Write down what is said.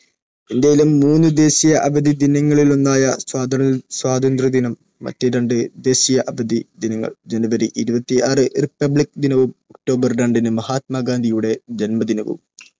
ഇന്ത്യയിലും മൂന്ന് ദേശീയ അവധി ദിനങ്ങളിലൊന്നായ സ്വാതന്ത്ര്യദിനം മറ്റ് രണ്ട് ദേശീയ അവധി ദിനങ്ങൾ ജനുവരി ഇരുപത്തി ആറിന് Republic ദിനവും ഒക്ടോബർ രണ്ടിന് മഹാത്മാഗാന്ധിയുടെ ജന്മദിനവും